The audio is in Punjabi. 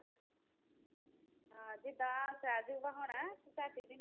ਹਾਂ ਜਿੱਦਾਂ ਤੇ ਝੱਟ ਦਿੰਦੀ